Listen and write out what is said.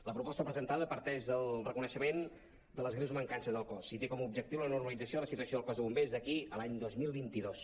la proposta presentada parteix del reconeixement de les greus mancances del cos i té com a objectiu la normalització de la situació del cos de bombers d’aquí a l’any dos mil vint dos